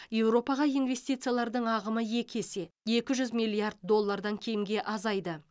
еуропаға инвестициялар ағымы екі есе екі жүз миллиард доллардан кемге азайды